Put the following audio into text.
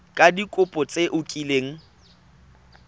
ka dikopo tse o kileng